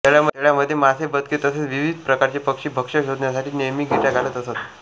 तळ्यामध्ये मासे बदके तसेच विविध प्रकारचे पक्षी भक्ष्य शोधण्यासाठी नेहमी घिरट्या घालत असतात